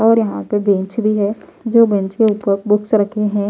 और यहां पे बेंच भी है जो बेंच के ऊपर बुक्स रखे हैं।